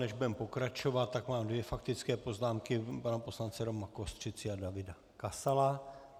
Než budeme pokračovat, tak mám dvě faktické poznámky pana poslance Roma Kostřici a Davida Kasala.